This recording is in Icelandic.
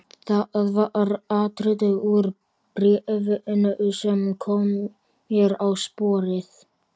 Það var atriði úr bréfinu sem kom mér á sporið.